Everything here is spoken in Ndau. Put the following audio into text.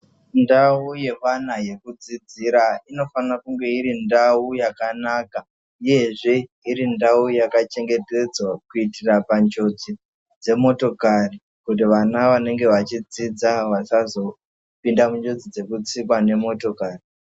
Ndau yevana yekudzidzira inofanire kunge iri ndau yakanaka uyezve iri ndau yakachengetedzwa kuitira panjodzi dzemotokari kuti vana vanenge vachidzidza vasazopinda munjodzi dzekutsikwa ngemotokari.